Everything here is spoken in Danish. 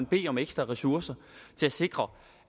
bede om ekstra ressourcer til at sikre